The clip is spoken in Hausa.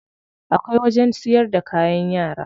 Akwai wajen siyar da kayan yara.